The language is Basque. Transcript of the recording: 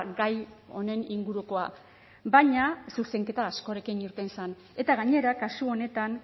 gai honen ingurukoa baina zuzenketa askorekin irten zen eta gainera kasu honetan